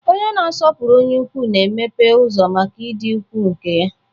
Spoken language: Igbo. Onye na-asọpụrụ onye ukwu na-emeghe ụzọ maka ịdị ukwuu nke ya.